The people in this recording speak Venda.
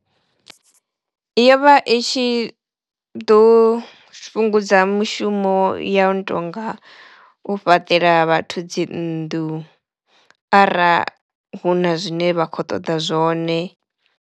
Yo vha i tshi ḓo fhungudza mushumo ya u tonga u fhaṱela vhathu dzi nnḓu ara hu na zwine vha khou ṱoḓa zwone.